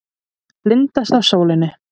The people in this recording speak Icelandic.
Blindast af sólinni.